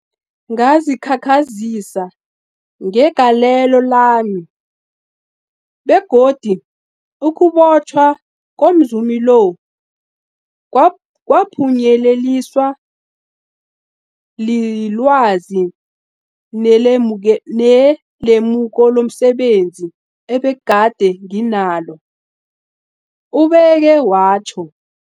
Ngazikhakhazisa ngegalelo lami, begodu ukubotjhwa komzumi lo kwaphunyeleliswa lilwazi nelemuko lomse benzi ebegade nginalo, ubeke watjho.